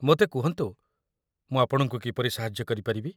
ମୋତେ କୁହନ୍ତୁ, ମୁଁ ଆପଣଙ୍କୁ କିପରି ସାହାଯ୍ୟ କରିପାରିବି?